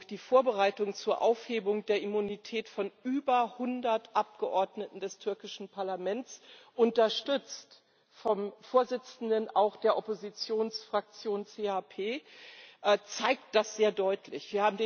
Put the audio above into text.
Die Vorbereitung zur Aufhebung der Immunität von über 100 Abgeordneten des türkischen Parlaments, unterstützt auch vom Vorsitzenden der Oppositionsfraktion CHP, zeigt das sehr deutlich.